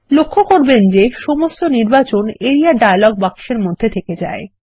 লক্ষ্য করবেন যে সমস্ত নির্বাচন আরিয়া ডায়লগ বাক্সের মধ্যে থেকে যায়